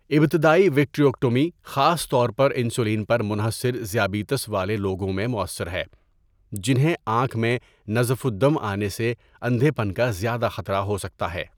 ابتدائی وٹریکٹومی خاص طور پر انسولین پر منحصر ذیابیطس والے لوگوں میں مؤثر ہے، جنہیں آنکھ میں نزف الدم آنے سے اندھے پن کا زیادہ خطرہ ہو سکتا ہے۔